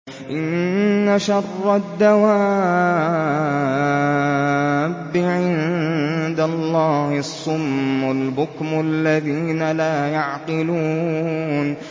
۞ إِنَّ شَرَّ الدَّوَابِّ عِندَ اللَّهِ الصُّمُّ الْبُكْمُ الَّذِينَ لَا يَعْقِلُونَ